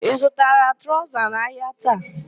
Ị zutara traụza n'ahịa taa?